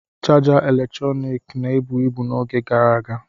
Chaja eletrọnịkị na-ebu ibu n'oge gara aga.